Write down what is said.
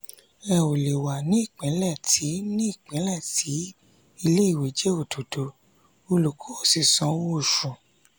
ẹ ò lè wà ní ìpínlẹ̀ tí ní ìpínlẹ̀ tí ilé-ìwé jẹ́ òdòdó olùkọ́ ò sì san owó oṣù